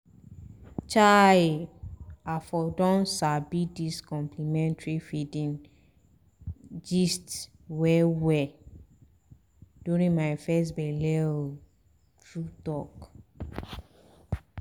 chai i for don sabi dis complementary feeding gist well-well during my first belle o true-talk.